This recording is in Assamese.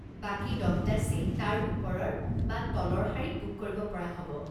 বাকী দহটা ছিট তাৰ ওপৰৰ বা তলৰ শাৰীত বুক কৰিব পৰা হ'ব।